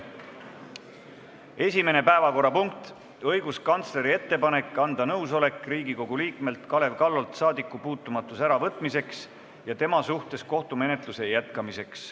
Esimene päevakorrapunkt: õiguskantsleri ettepanek anda nõusolek Riigikogu liikmelt Kalev Kallolt saadikupuutumatuse äravõtmiseks ja tema suhtes kohtumenetluse jätkamiseks.